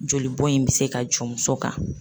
Jolibɔn in bɛ se ka jɔ muso kan.